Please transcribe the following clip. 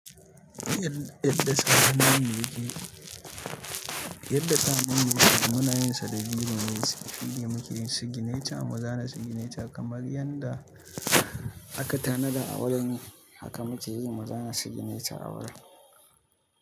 Yadda sahannun mu yake, yadda sahannun yake munayin sa da birone inda muke yin sigineci, mu zana sigineci kamar yanda aka tanada awaran haka muke yi mu zana signature awaran.